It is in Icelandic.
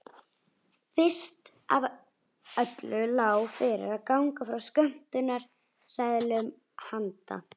Fyrst af öllu lá fyrir að ganga frá skömmtunarseðlum handa